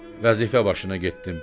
Vəzifə başına getdim.